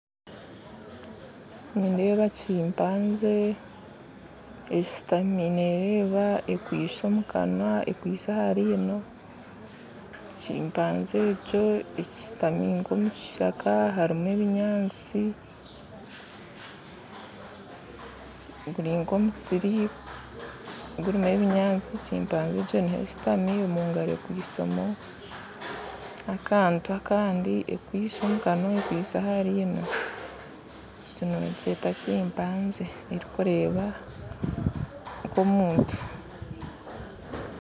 Nindeeba chimpanzee eshuutami neereeba ekwitsye omu kanwa ekwatsire aha riino chimpanzee ego eshuutami nka omu kishaka hariho ebinyaatsi guri nka omusiri gurimu ebinyaasti chimpanzee niho eshuutami omugaro ekwitse akantu akandi akwitsye omukanwa ekwitse aha rino egi nibagyeta chimpanzee erikureeba nka omuntu